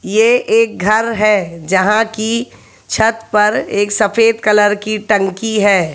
ये एक घर है जहां की छत पर एक सफेद कलर की टंकी है।